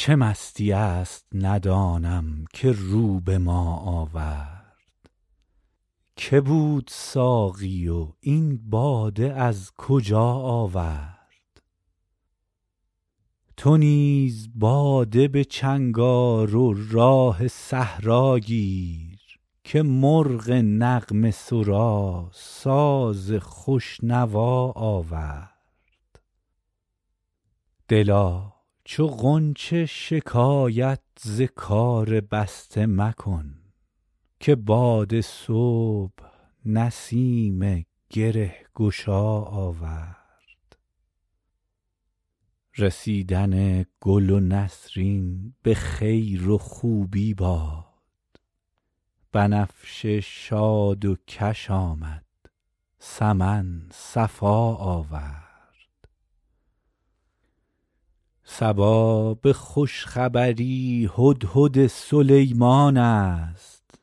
چه مستیی است ندانم که رو به ما آورد که بود ساقی و این باده از کجا آورد چه راه می زند این مطرب مقام شناس که در میان غزل قول آشنا آورد تو نیز باده به چنگ آر و راه صحرا گیر که مرغ نغمه سرا ساز خوش نوا آورد دلا چو غنچه شکایت ز کار بسته مکن که باد صبح نسیم گره گشا آورد رسیدن گل نسرین به خیر و خوبی باد بنفشه شاد و کش آمد سمن صفا آورد صبا به خوش خبری هدهد سلیمان است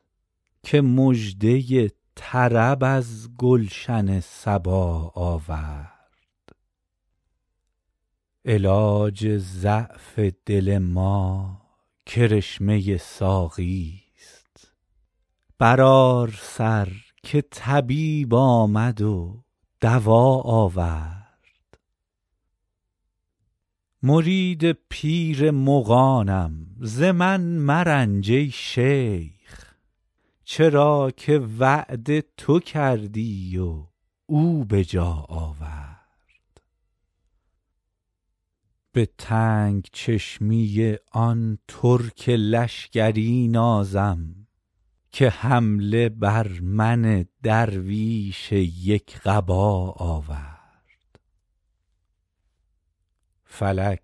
که مژده طرب از گلشن سبا آورد علاج ضعف دل ما کرشمه ساقیست برآر سر که طبیب آمد و دوا آورد مرید پیر مغانم ز من مرنج ای شیخ چرا که وعده تو کردی و او به جا آورد به تنگ چشمی آن ترک لشکری نازم که حمله بر من درویش یک قبا آورد فلک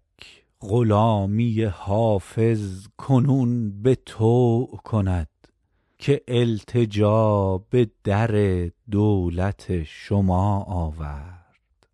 غلامی حافظ کنون به طوع کند که التجا به در دولت شما آورد